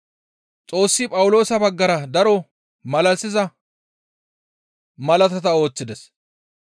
Xoossi Phawuloosa baggara daro malalisiza malaata ooththides.